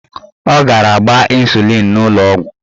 Ọ gara gbaa ịnsulịn n'ụlọọgwụ.